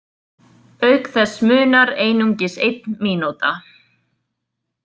Auk þess munar einungis einn mínúta